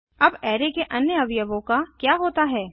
अब अराय के अन्य अवयवों का क्या होता है